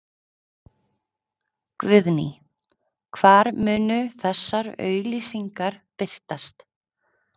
Guðný: Hvar munu þessar auglýsingar birtast?